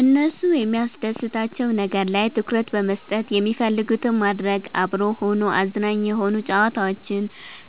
እነሱ የሚያስደስታቸዉ ነገር ላይ ትኩረት በመስጠት የሚፈልጉትን ማድረግ፤ አብሮ ሆኖ አዝናኝ የሆኑ ጨዋታዎችን